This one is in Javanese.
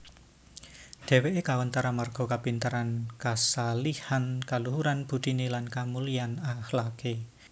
Dheweke kawentar amarga kapinteran kashalihan kaluhuran budine lan kamulyan akhlake